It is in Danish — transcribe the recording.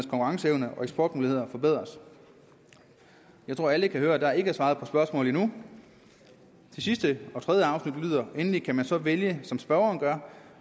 konkurrenceevne og eksportmuligheder forbedres jeg tror alle kan høre at der ikke er svaret på spørgsmålet endnu det sidste og tredje afsnit lyder endeligt kan så man vælge som spørgeren gør